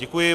Děkuji.